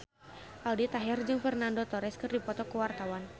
Aldi Taher jeung Fernando Torres keur dipoto ku wartawan